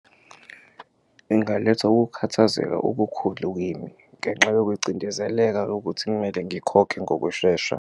Ingaletha ukukhathazeka okukhulu kimi ngenxa yokucindezeleka yokuthi kumele ngikhokhe ngokushesha.